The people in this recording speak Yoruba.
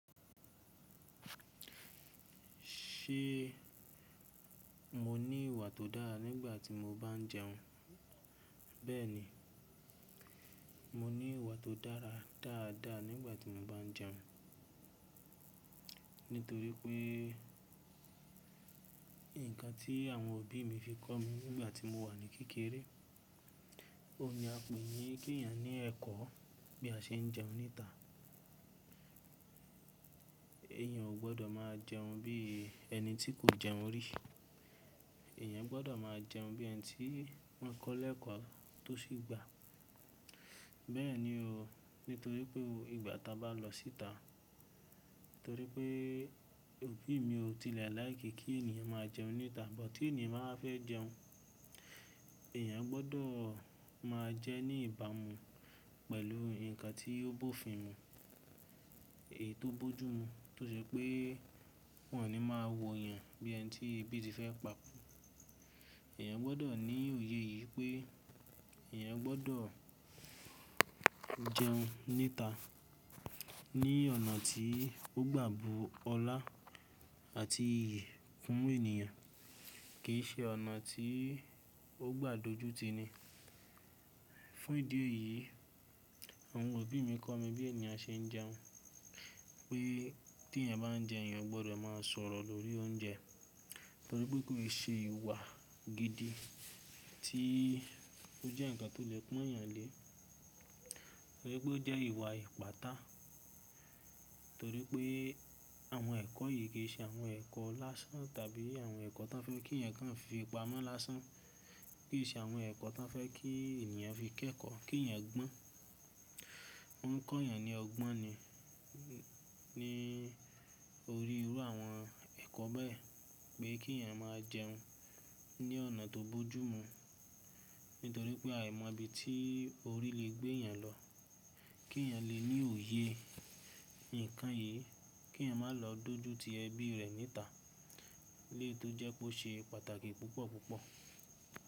Ṣé mo ní ìwà tó dára nígbà tí mo bá ń jẹun? Bẹ́ẹ̀ni, mo ní ìwà tó dára dáadáa nígbà tí mo bá ń jẹun. Nítorí pé nǹkan tí àwọn òbí mi fi kọ́ mi nígbà tí mo wà ní kékeré, ó ní a pè yín kí èèyàn ní ẹ̀kọ́ bí a ṣe ń jẹun níta. Ẹ̀yàn ò gbọdọ̀ máa jẹun bí ẹni tí kò jẹun rí. Ẹ̀yàn gbọdọ̀ máa jẹun bí ẹni tí wọ́n kọ́ lẹ́ẹ̀kọ́ tó sì gba. Bẹ́ẹ̀ni o, nítorí pé ìgbà tá bá lọ síta, torí pé òbí mi ò tilẹ̀ láì kí kí ènìyàn máa jẹun níta. But tí ènìyàn bá fẹ́ jẹun, ẹ̀yàn gbọdọ̀ máa jẹ ní ìbámu pẹ̀lú nǹkan tí ó bófìn-ín mu, èyí tó bójú mu. Tó ṣe pé wọ́n ò ní máa wo èèyàn bí ẹni tí ebi ti fẹ́ pa kú. Ẹ̀yàn gbọdọ̀ ní òye yìí pé ẹ̀yàn gbọdọ̀ jẹun níta ní ọ̀nà tí ó gbà bú ọlá àti iyì fún ènìyàn kì í ṣe ọ̀nà tí ó gbà dojú ti ni. Fún ìdí èyí, àwọn òbí mi kọ́ mi bí ènìyàn ṣe ń jẹun. Pé tí èèyàn bá ń jẹ, èèyàn gbọdọ̀ máa sọ̀rọ̀ lórí oúnjẹ torí pé kò lè ṣe ìwà gidi tí ó jẹ́ nǹkan tó lè pọ́n èèyàn lé. Torí pé ó jẹ́ ìwà ìpátá. Torí pé àwọn ẹ̀kọ́ yìí kì í ṣe àwọn ẹ̀kọ́ lásán tàbí àwọn ẹ̀kọ́ tó fẹ́ kí èèyàn kí wọ́n fi pamọ́ lásán. Kì í ṣe àwọn ẹ̀kọ́ tó fẹ́ kí ènìyàn fi kẹ́kọ̀ọ́ kí èèyàn gbọ́n. Wọ́n kọ́ èèyàn ní ọgbọ́n ni lórí irú àwọn ẹ̀kọ́ bẹ́ẹ̀ pé kí èèyàn máa jẹun ní ọ̀nà tó bójú mu. Nítorí pé a ò mọ ibi tí orí lè gbé èèyàn lọ. Kí èèyàn lè ní òye nǹkan yìí, kí èèyàn má lọ dojú ti ẹbí rẹ̀ níta lé tó jẹ́ kó ṣe pàtàkì púpọ̀ púpọ̀